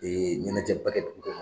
ɲɛnajɛ ba kɛ dugu kɔnɔn.